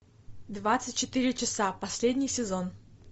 двадцать четыре часа последний сезон